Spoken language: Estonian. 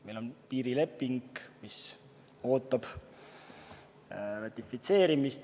Meil on piirileping, mis ootab ratifitseerimist.